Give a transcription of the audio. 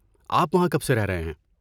آپ وہاں کب سے رہ رہے ہیں؟